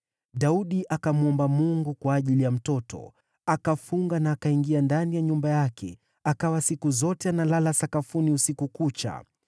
Daudi akamwomba Mungu kwa ajili ya mtoto. Akafunga na akaingia ndani ya nyumba yake akawa siku zote analala sakafuni usiku kucha.